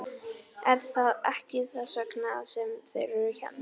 Er það ekki þess vegna sem þeir eru hérna?